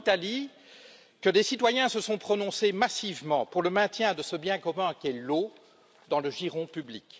C'est en Italie que des citoyens se sont prononcés massivement pour le maintien de ce bien commun qu'est l'eau dans le giron public.